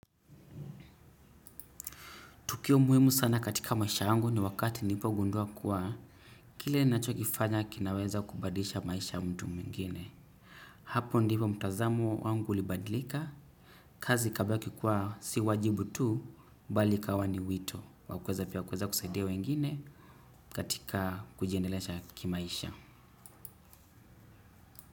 Tukio muhimu sana katika maisha yangu ni wakati nilipogundua kuwa kile nachokifanya kinaweza kubadilisha maisha ya mtu mwingine. Hapo ndipo mtazamo wangu ulibadilika. Kazi ikabaki kuwa si wajibu tu bali ikawa ni wito. Wa kuweza pia kuweza kusaidia wengine katika kujiendelesha kimaisha.